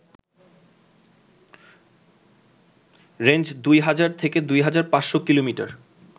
range ২,০০০ থেকে ২,৫০০ কিলোমিটার